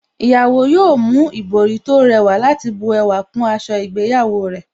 Ìyàwó yóò mú ìbòrí tó rẹwà láti bu ẹwà kún aṣọ ìgbéyàwó rẹ̀